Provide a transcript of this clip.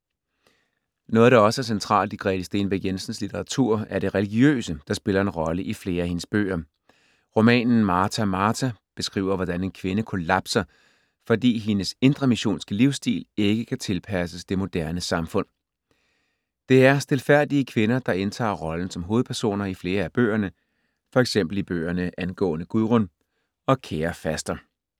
Noget, der også er centralt i Grete Stenbæk Jensens litteratur, er det religiøse, der spiller en rolle i flere af hendes bøger. Romanen Martha! Martha! beskriver, hvordan en kvinde kollapser, fordi hendes indremissionske livsstil ikke kan tilpasses det moderne samfund. Det er stilfærdige kvinder, der indtager rollen som hovedpersoner i flere af bøgerne, for eksempel i bøgerne Angående Gudrun og Kære faster.